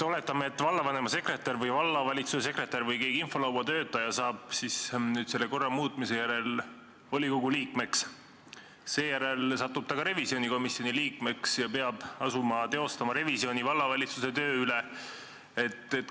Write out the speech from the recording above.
Oletame, et vallavanema sekretär, vallavalitsuse sekretär või infolauatöötaja saab selle korra muutmise järel volikogu liikmeks, seejärel satub ta ka revisjonikomisjoni liikmeks ja peab asuma tegema vallavalitsuse töö revisjoni.